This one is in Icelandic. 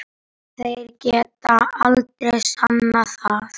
Þeir geta aldrei sannað það!